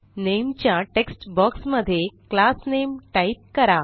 नामे च्या text boxमध्ये class name type करा